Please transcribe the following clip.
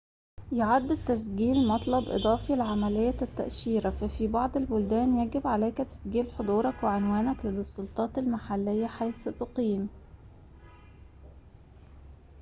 يُعَد التسجيل مطلب إضافي لعملية التأشيرة ففي بعض البلدان يجب عليك تسجيل حضورك وعنوانك لدى السلطات المحلية حيث تقيم